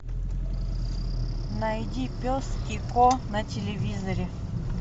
найди пес и ко на телевизоре